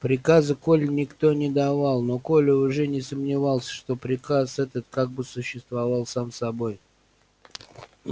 приказа коле никто не давал но коля уже не сомневался что приказ этот как бы существовал сам собой